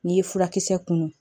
N'i ye furakisɛ kunun